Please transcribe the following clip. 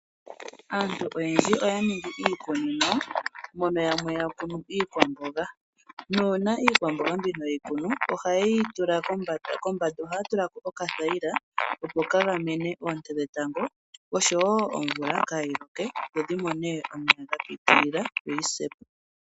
Aantu oyendji oya ningi iikunino mono yamwe ya kunu iikwamboga nuuna iikwamboga mbino yeyi kunu ohaye yi tula kombanda, kombanda ohaya tulako okathayila opo ka gamene oonte dhetango oshowo omvula kayi loke dho dhi mone omeya ga pitilila yoyi se po.